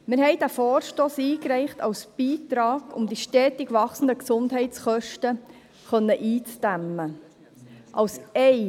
» Wir haben diesen Vorstoss als Beitrag eingereicht, um die stetig wachsenden Gesundheitskosten eindämmen zu können.